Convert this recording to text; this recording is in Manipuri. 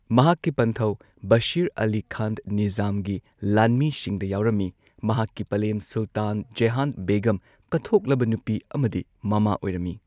ꯃꯍꯥꯛꯀꯤ ꯄꯟꯊꯧ ꯕꯁꯤꯔ ꯑꯂꯤ ꯈꯥꯟ ꯅꯤꯖꯥꯝꯒꯤ ꯂꯥꯟꯃꯤꯁꯤꯡꯗ ꯌꯥꯎꯔꯝꯃꯤ, ꯃꯍꯥꯛꯀꯤ ꯄꯂꯦꯝ ꯁꯨꯜꯇꯥꯟ ꯖꯦꯍꯥꯟ ꯕꯦꯒꯝ ꯀꯠꯊꯣꯛꯂꯕ ꯅꯨꯄꯤ ꯑꯃꯗꯤ ꯃꯃꯥ ꯑꯣꯏꯔꯝꯃꯤ꯫